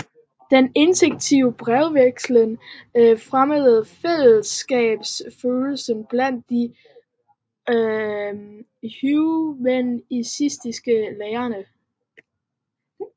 Den intensive brevvekslen fremmede fællesskabsfølelsen blandt de humanistiske lærde